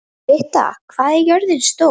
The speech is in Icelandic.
Britta, hvað er jörðin stór?